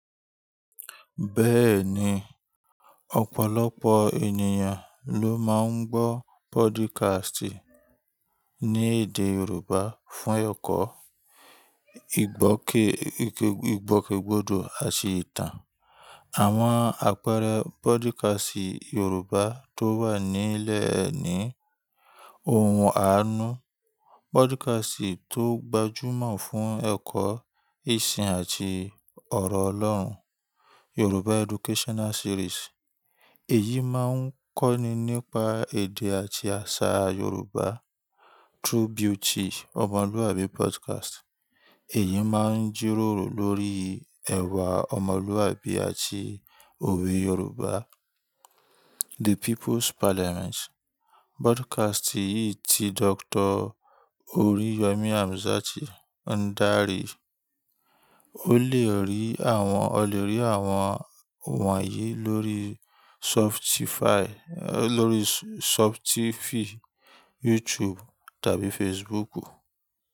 Bẹ́ẹ̀ni, ọ̀pọ̀lọpọ̀ ènìyàn ló máa ń gbọ́ podcast ní èdè Yorùbá fún ẹ̀kọ́, ìgbòkègbodò àti ìtàn. Àwọn àpẹẹrẹ podcast Yorùbá tó wà nílẹ̀ ni Ohun Àánú, podcast tó gbajúmọ̀ fún ẹ̀kọ́, ìsìn àti ọ̀rọ̀ Ọlọ́run. Yoruba Educational Series, èyí máa ń kọ́ni nípa èdè àti àṣà Yorùbá. True Beauty Omoluabi Podcast, èyí máa ń jíròrò lórí ẹ̀wà ọmọlúàbí àti òwe Yorùbá. The People's Parliament, broadcast yìí tí Dr. Oriyomi Hamzat ń darí. O lè rí àwọn, o lè rí àwọn wọ̀nyí lórí Spotify, lórí Spotify, YouTube tàbí Facebook.